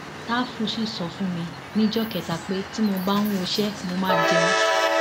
ṣàfù sì sọ fún mi níjọ kẹta pé tí mo bá ń woṣẹ mo máa jẹun